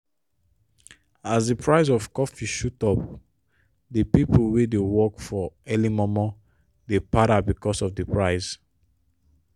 as di price of coffee shoot up the pipo wey dey work early momo dey para becuase of di price.